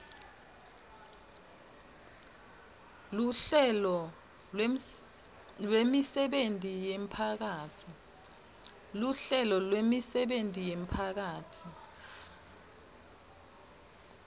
luhlelo lwemisebenti yemphakatsi